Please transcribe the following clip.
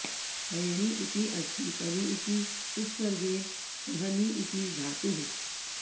परिणी इति अस्ति परि इति उपसर्गेण सह नी इति धातुः